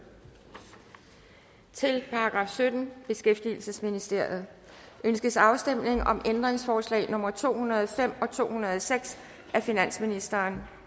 til § syttende beskæftigelsesministeriet ønskes afstemning om ændringsforslag nummer to hundrede og fem og to hundrede og seks af finansministeren